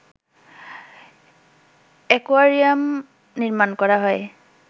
aquarium নির্মাণ করা হয়